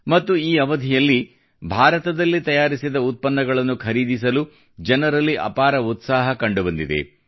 ಮತ್ತು ಈ ಅವಧಿಯಲ್ಲಿ ಭಾರತದಲ್ಲಿ ತಯಾರಿಸಿದ ಉತ್ಪನ್ನಗಳನ್ನು ಖರೀದಿಸಲು ಜನರಲ್ಲಿ ಅಪಾರ ಉತ್ಸಾಹ ಕಂಡುಬಂದಿದೆ